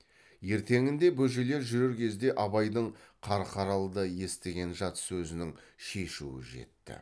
ертеңінде бөжейлер жүрер кезде абайдың қарқаралыда естіген жат сөзінің шешуі жетті